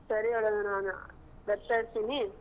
ಸರಿ ಹಾಗಾದ್ರೆ ನಾನು ಬರ್ತಾ ಇರ್ತೀನಿ.